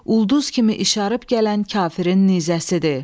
Ulduz kimi işarıb gələn kafirin nizəsidir.